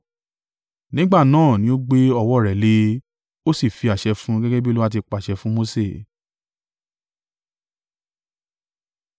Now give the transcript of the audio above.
Nígbà náà ni ó gbé ọwọ́ rẹ̀ le e, ó sì fi àṣẹ fún un gẹ́gẹ́ bí Olúwa ti pàṣẹ fún Mose.